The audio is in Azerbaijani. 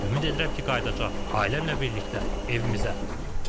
Ümid edirəm ki, qayıdacaq ailəmlə birlikdə evimizə.